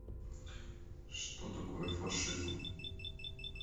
что такое фашизм